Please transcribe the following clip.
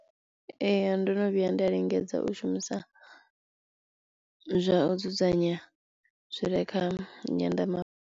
Ee ndono vhuya nda lingedza u shumisa zwa u dzudzanya zwi re kha nyanḓa.